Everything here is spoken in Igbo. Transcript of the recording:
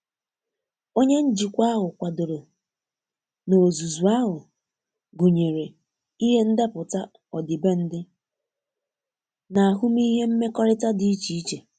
Onye njikwa ahụ kwadoro na ozuzu ahu gunyere ihe ndepụta ọdibendị na ahụmihe mmekọrita di iche iche,